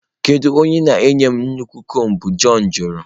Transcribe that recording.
Kedu onye ị na-enye m nnukwu mbo? John jụrụ.